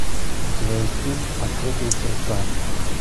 у тебя есть фильм открытые сердца